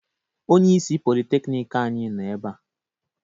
Onyeisi Politekiniiki anyi nọ ebea.